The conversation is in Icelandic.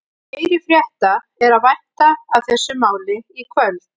Meiri frétta er að vænta af þessu máli í kvöld.